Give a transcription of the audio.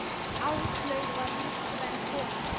Áslaug var listræn kona.